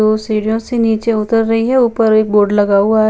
दो सीढ़ियों से नीचे उतर रही हें एक बोर्ड लगा हुआ हैं।